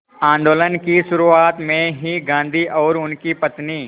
आंदोलन की शुरुआत में ही गांधी और उनकी पत्नी